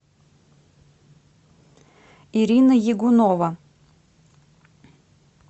ирина ягунова